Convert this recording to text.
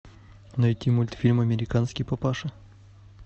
найти мультфильм американский папаша